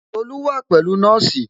Tolu wa pẹ̀lú nọ́ọ̀sì